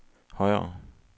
højere